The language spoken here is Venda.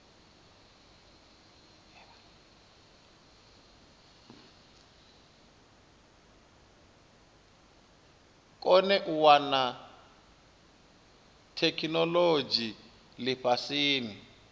kone u wana theikinolodzhi lifhasini